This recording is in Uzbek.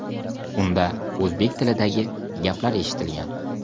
Unda o‘zbek tilidagi gaplar eshitilgan.